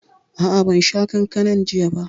A'a, ban sha kankanan jiya ba